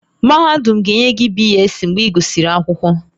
Mahadum ga-enye gị BSc mgbe ị gụsịrị akwụkwọ